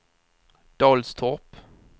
Dalstorp